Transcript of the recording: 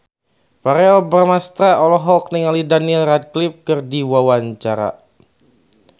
Verrell Bramastra olohok ningali Daniel Radcliffe keur diwawancara